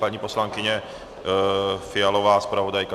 Paní poslankyně Fialová, zpravodajka?